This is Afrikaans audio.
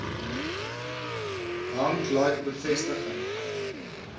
hank like bevestiging